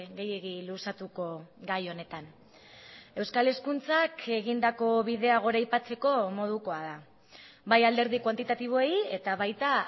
gehiegi luzatuko gai honetan euskal hezkuntzak egindako bidea goraipatzeko modukoa da bai alderdi kuantitatiboei eta baita